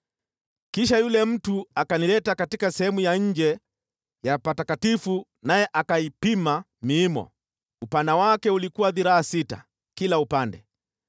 Kisha yule mtu akanileta katika sehemu ya nje ya patakatifu, naye akaipima miimo; upana wake ulikuwa dhiraa sita kila upande.